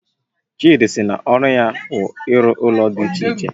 Chidi sị na ọru ya wu ịru ụlọ dị iche iche